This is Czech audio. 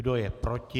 Kdo je proti?